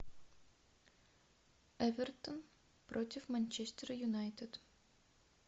эвертон против манчестер юнайтед